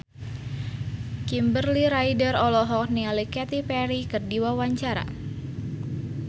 Kimberly Ryder olohok ningali Katy Perry keur diwawancara